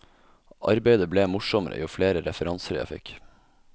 Arbeidet ble morsommere jo flere referanser jeg fikk.